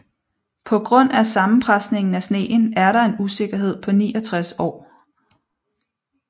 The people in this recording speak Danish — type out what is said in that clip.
På grund af sammenpresningen af sneen er der en usikkerhed på 69 år